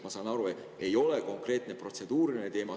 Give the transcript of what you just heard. Ma saan aru, see ei ole konkreetne protseduuriline teema.